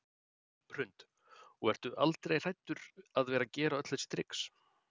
Hrund: Og ertu aldrei hræddur að vera gera öll þessi trix?